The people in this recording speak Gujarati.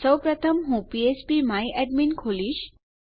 સૌપ્રથમ હું ફ્ફ્પ માય એડમિન ખોલીશ